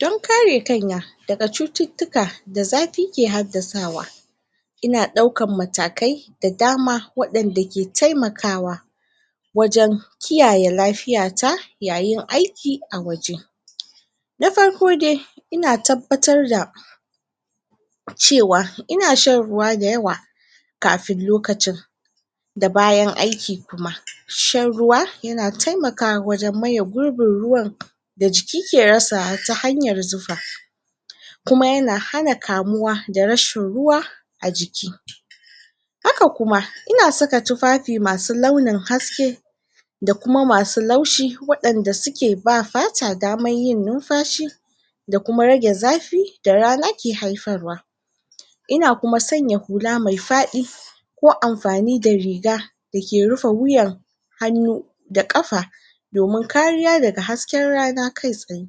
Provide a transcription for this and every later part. Don kare kaina da ga cututuka da zafi ke hadasawa ina daukan matakai da dama, wadan da ke taimakawa wajen kiyaye lafiya ta yayin aiki a waje na farko dai, ina tabbatar da cewa ina shan ruwa da yawa kafin lokacin da bayan aiki kuma, shan ruwa ya na taimakawa wajen maya gurin ruwan da jiki ke rasa ta hanyar zufa. Kuma ya na hana kamuwa da rashin ruwa a jiki. Haka kuma, ina tsaka tufafi masu launin haske da kuma masu laushi, wadanda su ke ba fata damar yin numfashi da kuma rage zafi da rana ke haifarwa ina kuma tsanya hula mai fadi ko amfani da riga, da ke rufa wuyan hanu da kafa domin kariya da ga hasken rana kai tsaye.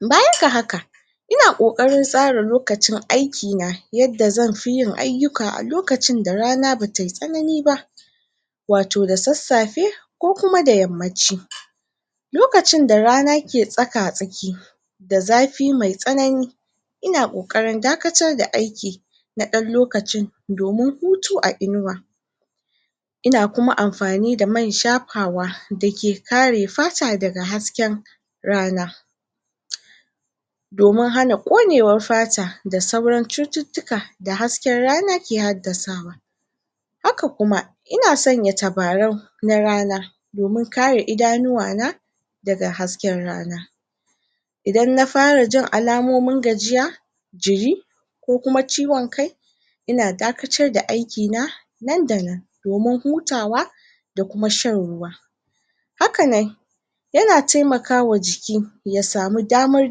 Bayan ga haka ina ƙoƙkarin tsara lokacin aiki na yadda zan fi yin ayukan a lokacin da rana bata yi tsanani ba. Wa to da tsatsafe, ko kuma da yamanci lokacin da rana ke tsaƙa-tsaƙi da zafi mai tsanani ina ƙoƙarin dakatar da aiki da dan lokacin domin hutu a inuwa. Ina kuma amfani da man shafawa da ke kare fata da ga hasken rana. Domin hana konewar fata da sauran cututuka da haske rana ke hadasawa. Haka kuma, ina tsanya tabaran na rana, domin kare idanuwa na da ga hasken rana idan na fara jin alamomin gajiya jiri, ko kuma ciwon kai ina dakatar da aiki na, nan da nan, domin hutawa da kuma shan ruwa hakanan ya na taimaka wa jiki ya samu damar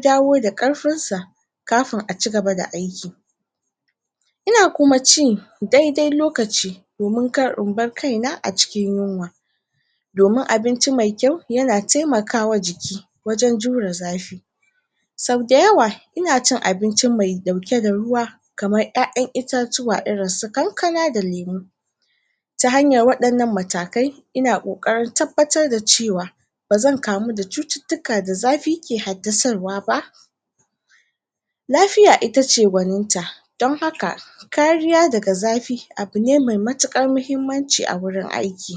dawo da karfin sa kafun a cigaba da aiki. Ina kuma ci, daidai lokaci domin kar in bar kaina a cikin yunwa. Domin abinci mai kyau ya na taimaka wa jiki wajen jura zafi san dayawa, ina cin abinci mai dauke da ruwa kamar ƴaƴan itatuwa irin su kakana da lemu. Ta hanyar wadannan matakai ina koƙarin tabbatar da cewa ba zan kamu da cututuka da zafi ke hadasarwa ba, lafiya ita ce goninta, don haka kariya da ga zafi abu ne mai matakan muhimmanci a wurin aiki.